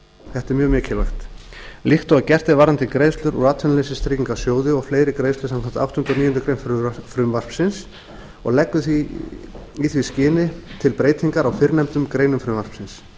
þetta er mjög mikilvægt líkt og gert er varðandi greiðslur úr atvinnuleysistryggingasjóði og fleiri greiðslur samkvæmt áttundu og níundu grein frumvarpsins og leggur í því skyni til breytingar á fyrrnefndum greinum frumvarpsins